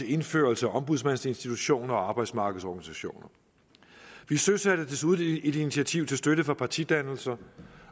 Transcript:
indførelse af ombudsmandsinstitutioner og arbejdsmarkedsorganisationer vi søsatte desuden et initiativ til støtte for partidannelser